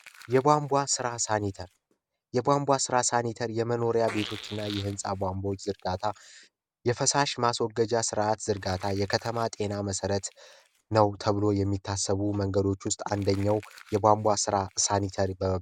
የቧንቧ ስራ ሳኒ የቧንቧ ራስን የመኖሪያ ቤቶችና እየህንፃ ቧንቧዎች ዝርጋታ የፈሳሽ ማስወገጃ ስርዓት ዝርጋታ የከተማ ጤና መሠረት ነው ተብሎ የሚታሰቡ መንገዶች ውስጥ አንደኛው የቋንቋ ራ ሳኒታሪ በመባል